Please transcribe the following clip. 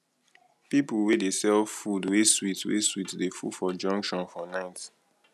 pipo wey dey sell food wey sweet wey sweet dey full for junction for night